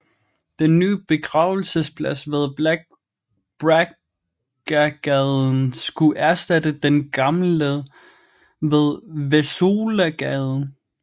Den nye begravelsesplads ved Brackagaden skulle erstatte den gamle ved Wesołagaden